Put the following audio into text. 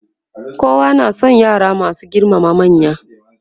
kowa na San yara masu girmama manya.